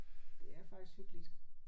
Det er faktisk hyggeligt